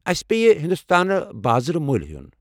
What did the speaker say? اسہ پیہِ ہنٛدوستانہٕ بازرٕ مۄلۍ ہیوٚن ۔